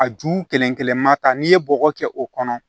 A ju kelen-kelen ma ta n'i ye bɔgɔ kɛ o kɔnɔ